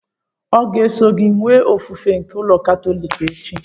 Ọ ga-eso gị enwe ofufe n'ụka katọliki echi?